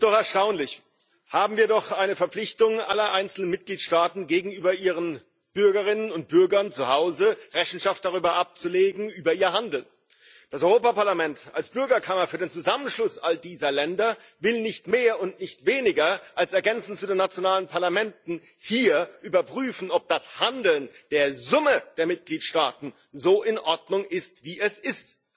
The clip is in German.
Es ist doch erstaunlich haben wir doch eine Verpflichtung aller einzelnen Mitgliedstaaten gegenüber ihren Bürgerinnen und Bürgern, zu Hause Rechenschaft über ihr Handeln abzulegen. Das Europäische Parlament als Bürgerkammer für den Zusammenschluss all dieser Länder will nicht mehr und nicht weniger, als ergänzend zu den nationalen Parlamenten hier überprüfen, ob das Handeln der Summe der Mitgliedstaten so in Ordnung ist wie es ist.